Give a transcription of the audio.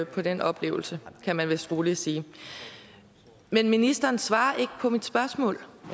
på den oplevelse kan man vist roligt sige men ministeren svarede ikke på mit spørgsmål